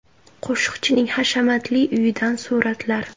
Qo‘shiqchining hashamatli uyidan suratlar.